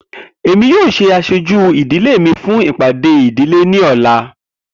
Emi yoo ṣe aṣoju idile mi fun ipade idile ni ọla.